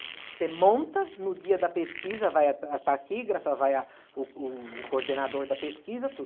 Você monta no dia da pesquisa, vai a a taquígrafa, vai a o o o coordenador da pesquisa, tudo.